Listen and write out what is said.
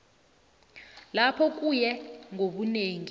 lapho kuye ngobunengi